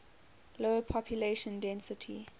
low population density